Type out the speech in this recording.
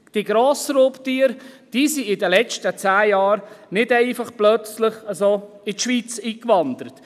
Die Grossraubtiere sind in den letzten zehn Jahren nicht einfach plötzlich in die Schweiz eingewandert.